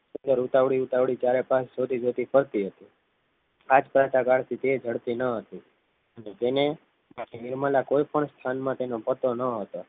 ત્યારે ઉતાવળ ઉતાવળું તારા પાસે જતી જતી ફરતી હતી આજ તે ઝડપી ન હતી આ ભીડમાં કોઈ પણ સ્થાનમાં એનો પતો ન હતો